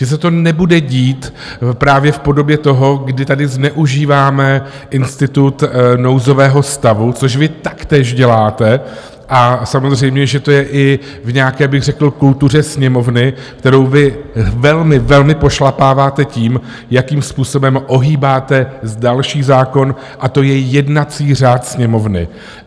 Že se to nebude dít právě v podobě toho, kdy tady zneužíváme institut nouzového stavu, což vy taktéž děláte, a samozřejmě že to je i v nějaké bych řekl kultuře Sněmovny, kterou vy velmi, velmi pošlapáváte tím, jakým způsobem ohýbáte další zákon, a to je jednací řád Sněmovny.